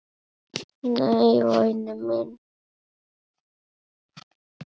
Nei, væni minn.